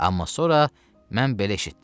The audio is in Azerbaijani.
Amma sonra mən belə eşitdim.